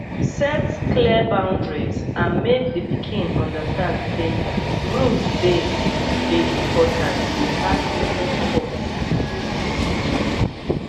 set clear boundries and make di pikin understand sey rules dey dey important without using force